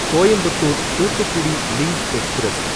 Coimbatore Thoothukudi link express